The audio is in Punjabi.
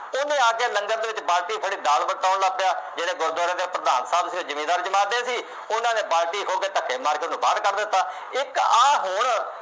ਉਹਨੇ ਆ ਕੇ ਲੰਗਰ ਦੇ ਵਿੱਚ ਬਾਲਟੀ ਫੜ੍ਹੀ ਦਾਲ ਵਰਤਾਉਣ ਲੱਗ ਪਿਆ। ਜਿਹੜੇ ਗੁਰਦੁਆਰੇ ਦੇ ਪ੍ਰਧਾਨ ਸਾਹਬ ਜਿਮੀਂਦਾਰ ਜਮਾਤ ਦੇ ਸੀ। ਉਹਨਾ ਨੇ ਬਾਲਟੀ ਖੋਹ ਕੇ ਧੱਕੇ ਮਾਰ ਕੇ ਉਹਨੂੰ ਬਾਹਰ ਕੱਢ ਦਿੱਤਾ। ਇੱਕ ਆਹ ਹੁਣ